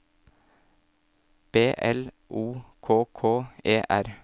B L O K K E R